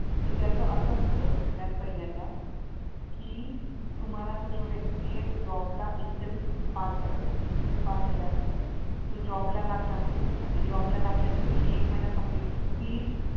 तर त्यास असं असत सगळ्यात पहिल्यांदा कि तुम्हाला तो जो व्यक्ती आहे तो जॉबला इंटरव्हिव्ह पास झाला पाहिजे इंटरव्हिव्ह पास झाल्यानंतर तो जॉब ला लागला पाहिजे आणि जॉबला लागल्या नंतर त्याने एक महिना कम्प्लिट तीस